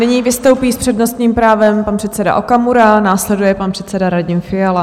Nyní vystoupí s přednostním právem pan předseda Okamura, následuje pan předseda Radim Fiala.